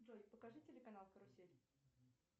джой покажи телеканал карусель